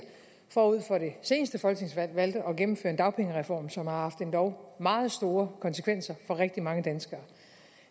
forud for det seneste folketingsvalg valgte at gennemføre en dagpengereform som har haft endog meget store konsekvenser for rigtig mange danskere